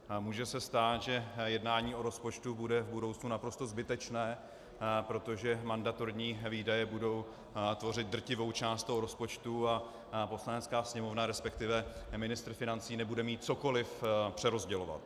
Může se stát, že jednání o rozpočtu bude v budoucnu naprosto zbytečné, protože mandatorní výdaje budou tvořit drtivou část toho rozpočtu a Poslanecká sněmovna, respektive ministr financí nebude mít cokoliv přerozdělovat.